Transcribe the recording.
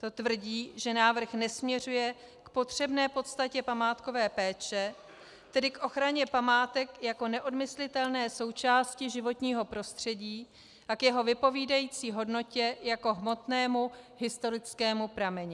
To tvrdí, že návrh nesměřuje k potřebné podstatě památkové péče, tedy k ochraně památek jako neodmyslitelné součásti životního prostředí a k jeho vypovídající hodnotě jako hmotnému historickému prameni.